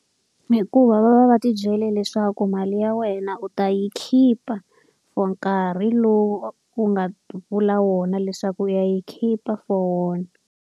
Hikuva va va va ti byele leswaku mali ya wena u ta yi khipa for nkarhi lowu wu nga vula wona leswaku u ya yi khipa for wona.